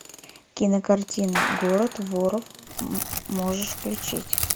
кинокартина город воров можешь включить